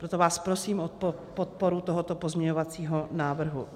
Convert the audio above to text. Proto vás prosím o podporu tohoto pozměňovacího návrhu.